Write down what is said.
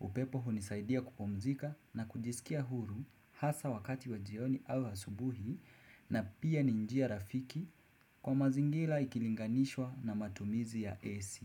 Upepo hunisaidia kupumzika na kujisikia huru hasa wakati wa jioni au asubuhi na pia ni njia rafiki kwa mazingira ikilinganishwa na matumizi ya AC.